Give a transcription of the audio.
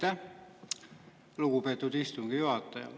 Aitäh, lugupeetud istungi juhataja!